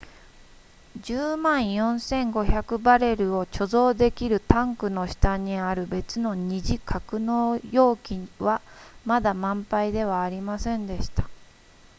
10万4500バレルを貯蔵できるタンクの下にある別の二次格納容器はまだ満杯ではありませんでした